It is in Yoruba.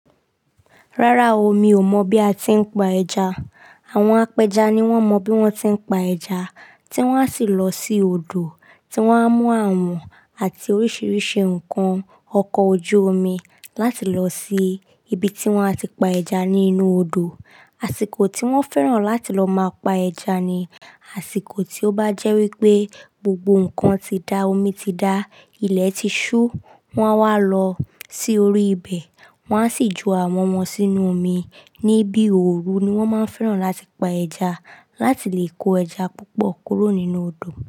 Rárá o, mi ò mọ̀ bí a tí ń pa ẹja. Àwọn apẹja ni wọ́n mọ bí wọ́n tí ń pa ẹja, tí wọ́n á sì lọ sí odò tí wọ́n á mú àwọn àti oríṣiríṣi nǹkan ọkọ̀ ojú omi láti lọ sí ibi tí wọ́n á ti pa ẹja nínú odò. Àsìkò tí wọ́n fẹ́ràn láti lọ máa pa ẹja ni àsìkò tí ó bá jẹ́ wípé gbogbo nǹkan ti dá, omi ti dá, ilẹ̀ ti ṣú, wọ́n á wá lọ sí orí ibẹ̀, wọ́n á sì ju àwọn wọn sínú omi. Ni bí òru ni wọ́n máa ń fẹ́ràn láti pa ẹja láti lè kó ẹja púpọ̀ kúrò nínú odò.